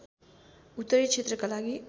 उत्तरी क्षेत्रका लागि